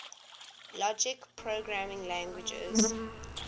logic programming languages